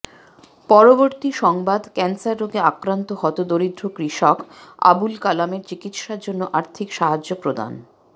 পরবর্তী সংবাদ ক্যান্সার রোগে আক্রান্ত হতদরিদ্র কৃষক আবুল কালাম এর চিকিৎসার জন্য আর্থিক সাহায্য প্রদান